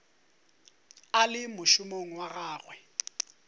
a le mošomong wa gagwe